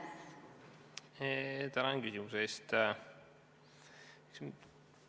Tänan küsimuse eest!